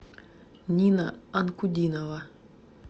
нина анкудинова